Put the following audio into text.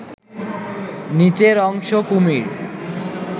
নিচের অংশ কুমির